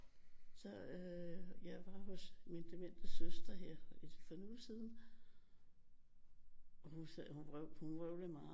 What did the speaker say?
Så øh jeg var hos min demente søster her for en uge siden og hun sagde hun vrøvlede meget